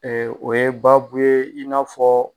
o ye baabu ye, i n'afɔ